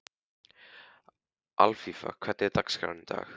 Alfífa, hvernig er dagskráin í dag?